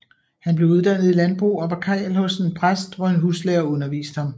Han blev uddannet i landbrug og var karl hos en præst hvor en huslærer underviste ham